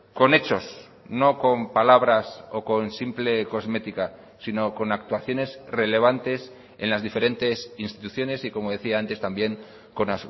con hechos no con palabras o con simple cosmética sino con actuaciones relevantes en las diferentes instituciones y como decía antes también con